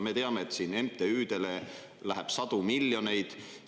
Me teame, et MTÜ-dele läheb sadu miljoneid.